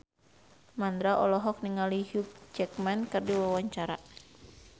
Mandra olohok ningali Hugh Jackman keur diwawancara